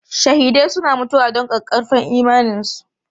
Shahidai suna mutuwa don ƙaƙƙarfan imaninsu.